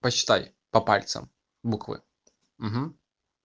посчитай по пальцам буквы